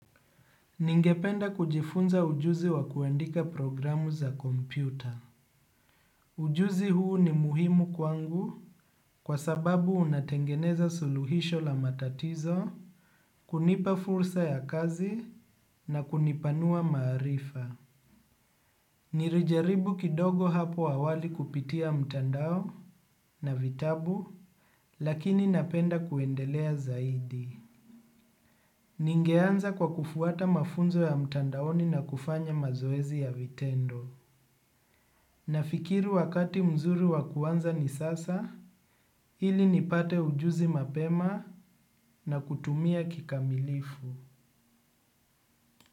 Ningependa kujifunza ujuzi wa kuandika programu za kompyuta. Ujuzi huu ni muhimu kwangu kwa sababu unatengeneza suluhisho la matatizo, kunipa fursa ya kazi na kunipanua maarifa. Nilijaribu kidogo hapo awali kupitia mtandao na vitabu, lakini napenda kuendelea zaidi. Ningeanza kwa kufuata mafunzo ya mtandaoni na kufanya mazoezi ya vitendo. Nafikiri wakati mzuri wa kuanza ni sasa, ili nipate ujuzi mapema na kutumia kikamilifu.